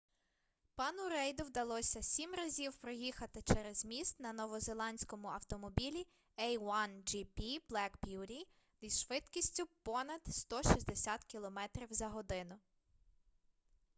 пану рейду вдалося 7 разів проїхати через міст на новозеландському автомобілі a1gp black beauty зі швидкістю понад 160 км/год